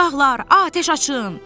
Uşaqlar, atəş açın.